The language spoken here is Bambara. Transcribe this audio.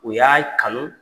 O y'a kanu